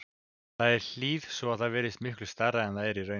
Það er í hlíð svo að það virðist miklu stærra en það er í raun.